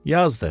Yazdı.